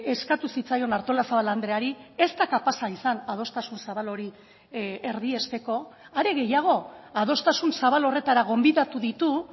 eskatu zitzaion artolazabal andreari ez da kapaza izan adostasun zabal hori erdiesteko are gehiago adostasun zabal horretara gonbidatu ditu